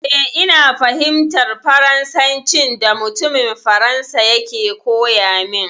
Eh, ina fahimtar Farnsancin da mutumin Faransa yake koya min.